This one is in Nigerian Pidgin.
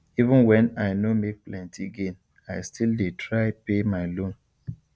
even when i no make plenty gain i still dey try pay my loan